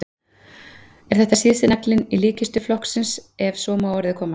Er þetta síðasti naglinn í líkkistu flokksins ef svo má að orði komast?